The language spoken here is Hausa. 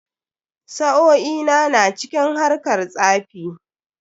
Sa'o'i na na cikin harkar tsafi.